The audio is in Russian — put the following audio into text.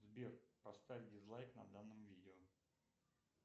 сбер поставь дизлайк на данном видео